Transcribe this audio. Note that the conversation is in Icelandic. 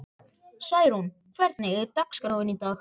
Særún, hvernig er dagskráin í dag?